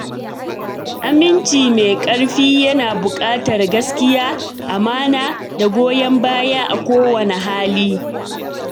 Aminci mai ƙarfi yana buƙatar gaskiya, amana, da goyon baya a kowane hali.